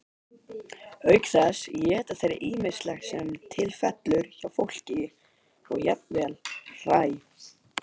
auk þess éta þeir ýmislegt sem til fellur hjá fólki og jafnvel hræ